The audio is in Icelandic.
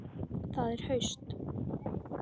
Það er haust.